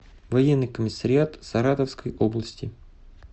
военный комиссариат саратовской области